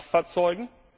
bei den Kraftfahrzeugen.